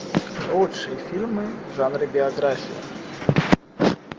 лучшие фильмы в жанре биография